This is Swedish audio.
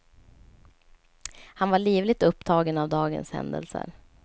Han var livligt upptagen av dagens händelser.